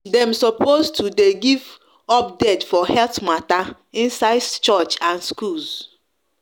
dem sopos to de give update for health matter inside church and schools